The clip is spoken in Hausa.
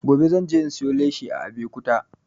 Gobe zan je in siyo leshi a abekuta